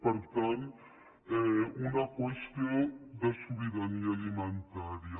per tant una qüestió de sobirania alimentària